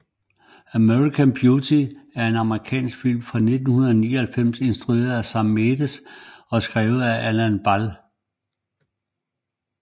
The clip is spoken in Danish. American Beauty er en amerikansk film fra 1999 instrueret af Sam Mendes og skrevet af Alan Ball